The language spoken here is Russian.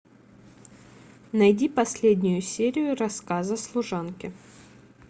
найди последнюю серию рассказа служанки